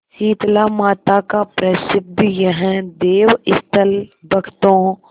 शीतलामाता का प्रसिद्ध यह देवस्थल भक्तों